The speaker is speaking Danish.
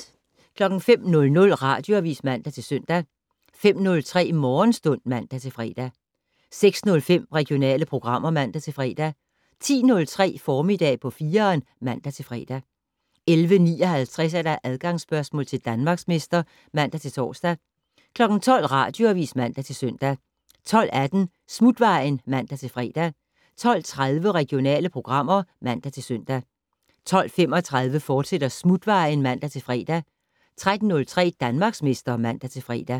05:00: Radioavis (man-søn) 05:03: Morgenstund (man-fre) 06:05: Regionale programmer (man-fre) 10:03: Formiddag på 4'eren (man-fre) 11:59: Adgangsspørgsmål til Danmarksmester (man-tor) 12:00: Radioavis (man-søn) 12:18: Smutvejen (man-fre) 12:30: Regionale programmer (man-søn) 12:35: Smutvejen, fortsat (man-fre) 13:03: Danmarksmester (man-fre)